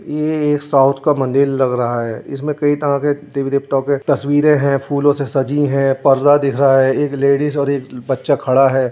ये एक साउथ का मंदिर लग रहा है इसमें कई तरह के देवी-देवताओ तस्वीरें हैं। फूलो से सजी है। पर्दा दिख रहा है। एक लेडीज और एक बच्चा खड़ा है।